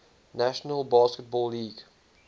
national basketball league